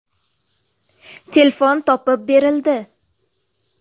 Telefon topib berildi .